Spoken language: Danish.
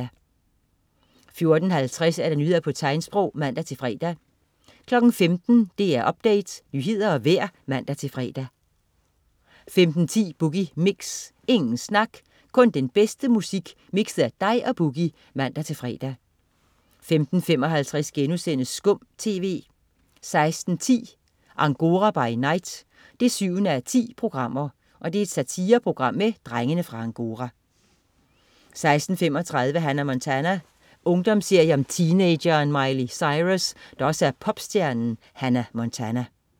14.50 Nyheder på tegnsprog (man-fre) 15.00 DR Update. Nyheder og vejr (man-fre) 15.10 Boogie Mix. Ingen snak, kun den bedste musik mixet af dig og Boogie (man-fre) 15.55 SKUM TV* 16.10 Angora by night 7:10. Satireprogram med "Drengene fra Angora" 16.35 Hannah Montana. Ungdomsserie om teenageren Miley Cyrus, der også er popstjernen Hannah Montana